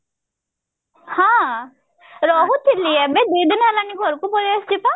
ହଁ ରହୁଥିଲି ଏବେ ଦିଦିନ ହେଲା ଘରକୁ ପଳେଇଆସିଛି ପା